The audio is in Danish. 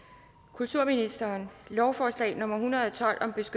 kulturministeren lovforslag nummer l en hundrede